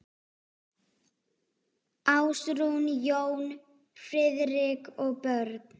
Ásrún, Jón Friðrik og börn.